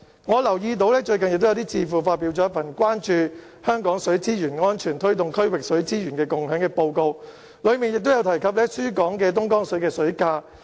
我留意到最近有智庫發表了名為《水沛蜃樓——關注香港水資源安全推動區域水資源共享》的報告，當中提到輸港的東江水水價。